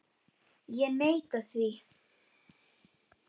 Ég neita því.